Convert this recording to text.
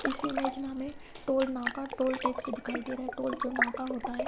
इस इमेज में हमे टोल नाका टोल टेक्स दिखाई दे रहा है टोल जो नाका होता है।